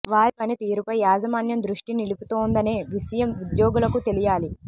వారి పని తీరుపై యాజమాన్యం దృష్టి నిలుపుతోందనే విషయం ఉద్యోగులకు తెలియాలి